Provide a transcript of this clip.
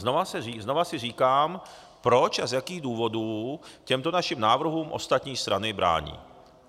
Znovu si říkám, proč a z jakých důvodů těmto našim návrhům ostatní strany brání.